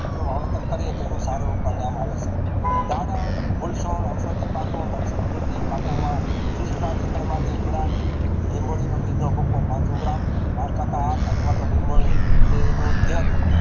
એનું વાવતાર કરીયે તો એનું સારું પરિણામ આવે છે સારા અવશાળી પાકો રાખીફ ખેતી પાકોમાં એન્ટર માટે લીંબડા ને લીંબોડીનો બીજ નો ભૂખો પાનસો ગ્રામ પાંચ ટકા અથવા તો લીંબોળી નો તેલ